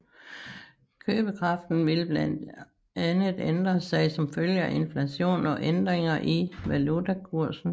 Købekraften vil blandt andet ændre sig som følge af inflation og ændringer i valutakursen